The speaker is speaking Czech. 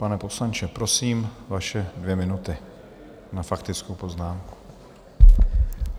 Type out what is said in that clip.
Pane poslanče, prosím, vaše dvě minuty na faktickou poznámku.